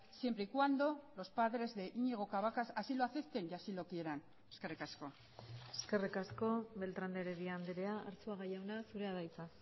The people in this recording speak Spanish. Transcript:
siempre y cuando los padres de iñigo cabacas así lo acepten y así lo quieran eskerrik asko eskerrik asko beltrán de heredia andrea arzuaga jauna zurea da hitza